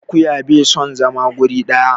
Akuya bai son zama wuri ɗaya.